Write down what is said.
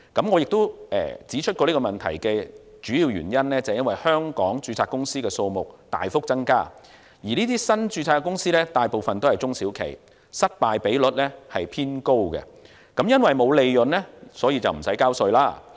我亦都指出過這個問題的主要原因，是因為香港註冊公司的數目大幅增加，而這些新註冊公司大部分都是中小企，失敗比率偏高，因為沒有利潤，所以無須繳稅。